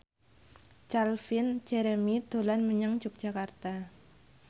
Calvin Jeremy dolan menyang Yogyakarta